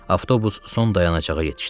Avtobus son dayanacağa yetişdi.